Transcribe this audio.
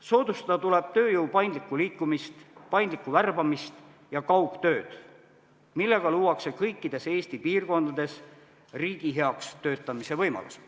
Soodustada tuleb tööjõu paindlikku liikumist, paindlikku värbamist ja kaugtööd, millega luuakse kõikides Eesti piirkondades riigi heaks töötamise võimalused.